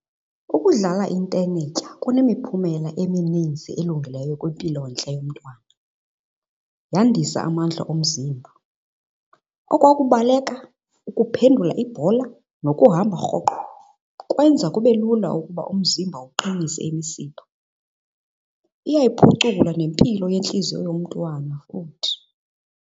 Ukudlala intenetya kunemiphumela emininzi elungileyo kwimpilontle yomntwana. Yandisa amandla omzimba. Okwa kubaleka, ukuphendula ibhola, nokuhamba rhoqo kwenza kube lula ukuba umzimba uqinise imisipha. Iyayiphucula nempilo yentliziyo yomntwana futhi.